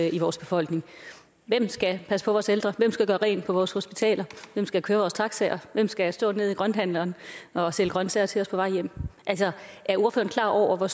i vores befolkning hvem skal passe på vores ældre hvem skal gøre rent på vores hospitaler hvem skal køre vores taxaer hvem skal stå nede i grønthandleren og sælge grønsager til os på vej hjem er ordføreren klar over hvor